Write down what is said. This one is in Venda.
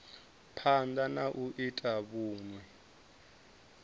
phanda na u ita vhunwe